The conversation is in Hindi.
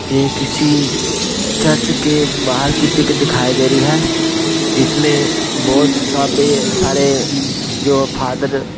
ये किसी चर्च के बाहर की पिक दिखाई दे रही है जिसमें बहुत साबे सारे जो फादर --